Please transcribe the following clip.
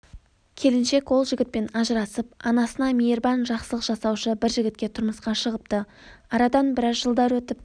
келіншек ол жігітпен ажырасып анасына мейірбан жақсылық жасаушы бір жігітке тұрмысқа шығыпты арадан бірәз жылдар өтіп